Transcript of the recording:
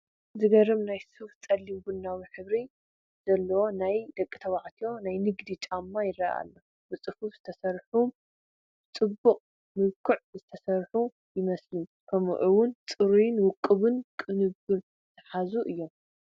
ዝገርም ናይ ሱፍ ጸሊም ቡናዊ ሕብሪ ዘለዎም ናይ ደቂ ተባዕትዮ ናይ ንግዲ ጫማ ይረአ ኣሎ። ብጽፉፍ ዝተሰርሑን ብጽቡቕ መልክዕ ዝተሰርሑን ይመስሉ ከምኡ ውን ጽሩይን ውቁብን ቅንብር ዝሓዙ እዮም።